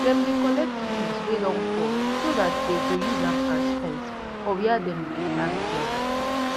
dem dey collect leaves wey don fall so dat dey go use am as fence for wia dey dem dey plant yam